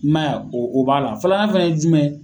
I ma y'a o b'a la, flanan fɛnɛ ye jumɛn.